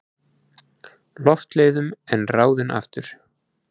Loftleiðum en ráðinn aftur.